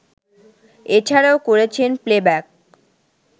এছাড়াও করেছেন প্লেব্যাক